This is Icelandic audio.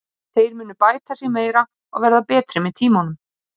Þeir munu bæta sig meira og verða betri með tímanum.